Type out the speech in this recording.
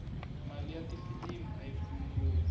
mali ya tifilimu ayi pfuni ngopfu